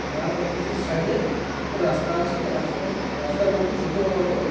তার opposite side -এ একটা রাস্তা আছে। রাস্তা রাস্তার মধ্যে দুটো অটো --